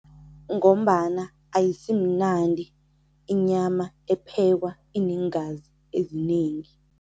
Ngombana ayisimnandi inyama ephekwa ineengazi ezinengi.